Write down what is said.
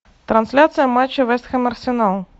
трансляция матча вест хэм арсенал